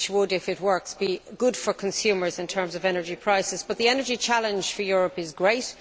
If it works it would be good for consumers in terms of energy prices, but the energy challenge for Europe is great.